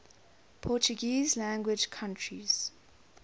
portuguese language countries